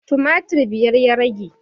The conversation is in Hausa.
Tumatir biyar ya rage